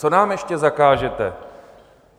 Co nám ještě zakážete?